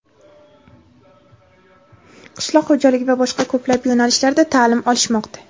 qishloq xo‘jaligi va boshqa ko‘plab yo‘nalishlarda taʼlim olishmoqda.